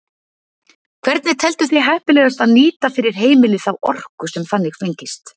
Hvernig telduð þið heppilegast að nýta fyrir heimili þá orku sem þannig fengist?